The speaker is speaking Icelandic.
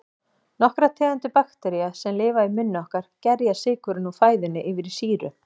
Nokkrar tegundir baktería, sem lifa í munni okkar, gerja sykurinn úr fæðunni yfir í sýru.